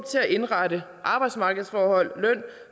indrette arbejdsmarkedsforhold løn